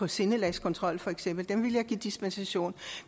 sindelagskontrol for eksempel dem ville jeg give dispensation